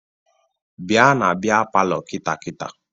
Bịa na bịa palọ kịta kịta!